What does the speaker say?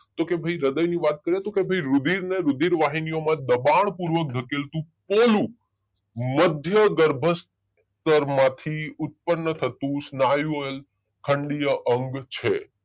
તો કે ભાઈ હૃદય ની વાત કરીએ તો કે ભાઈ રુધિર ને રુધિર વહીનીઓ માં દબાણ પૂર્વક ધકેલતું પોલું મધ્ય ગર્ભસ્તરમાંથી ઉત્પન્ન થતું સ્નાયુમ ખંડીય અંગ છે